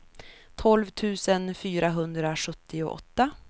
tolv tusen fyrahundrasjuttioåtta